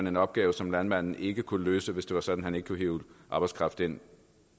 en opgave som landmanden ikke kunne få løst hvis det var sådan man ikke kunne hive arbejdskraft ind